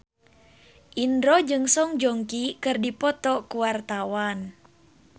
Indro jeung Song Joong Ki keur dipoto ku wartawan